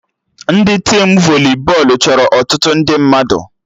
Ndị tim voli bọọlụ chọrọ ọtụtụ ndị mmadụ